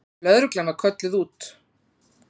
Lögreglan var kölluð út.